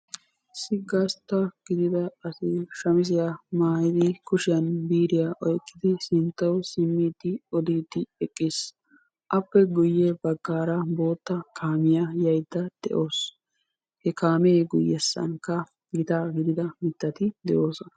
Issi gastta gidida asi shamiziya maayidi kushiyan biiriya oyqqidi sinttawu simmiidi oddiidi eqqiis. Appe guye baggaara bootta kaamiya yayidda de'awusu. He kaammee guyyessankka gitaa gidida mittati de'oosona.